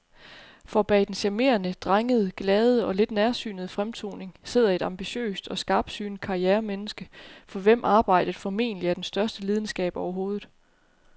For bag den charmerende, drengede, glade og lidt nærsynede fremtoning sidder et ambitiøst og skarpsynet karrieremenneske, for hvem arbejdet formentlig er den største lidenskab overhovedet.